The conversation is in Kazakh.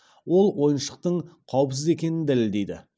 ол ойыншықтың қауіпсіз екенін дәлелдейді